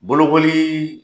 Bolokoli